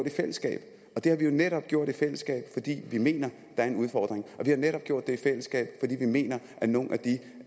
i fællesskab og det har vi jo netop gjort i fællesskab fordi vi mener er en udfordring vi har netop gjort det i fællesskab fordi vi mener at nogle